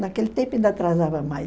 Naquele tempo ainda atrasava mais.